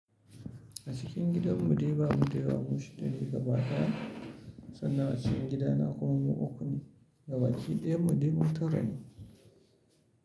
A cikin gidan mu dai ba mu dai damu shi dani gaba daya sannan a cikin gidana kuma mu uku ne gaba ki daya mude dai mu tara ne.